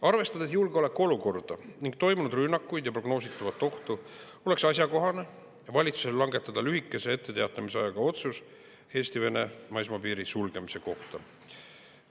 Arvestades julgeolekuolukorda ning toimunud rünnakuid ja prognoositavat ohtu, oleks valitsusel asjakohane langetada lühikese etteteatamisajaga otsus Eesti-Vene maismaapiiri sulgemise kohta.